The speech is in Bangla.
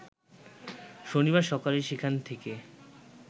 শনিবার সকালে সেখান থেকে